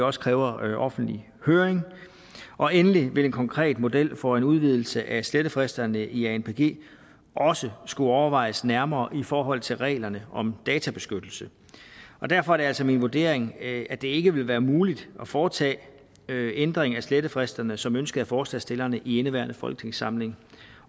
også kræver offentlig høring og endelig vil en konkret model for en udvidelse af slettefristerne i anpg også skulle overvejes nærmere i forhold til reglerne om databeskyttelse derfor er det altså min vurdering at det ikke vil være muligt at foretage ændring af slettefristerne som ønsket af forslagsstillerne i indeværende folketingssamling